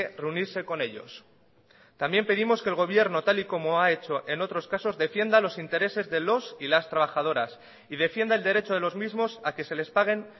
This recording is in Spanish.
reunirse con ellos también pedimos que el gobierno tal y como ha hecho en otros casos defienda los intereses de los y las trabajadoras y defienda el derecho de los mismos a que se les paguen